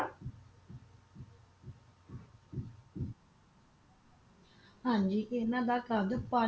ਹਾਂਜੀ ਜੀ ਇਹਨਾਂ ਦਾ ਕਦ ਪੰਜ